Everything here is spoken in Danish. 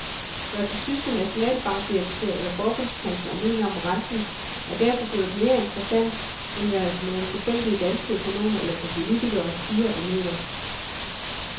Hvad den tyske nationalbankdirektør eller forbundskansler mener om renten er derfor blevet mere interessant, end hvad nogle tilfældige danske økonomer eller politikere siger og mener.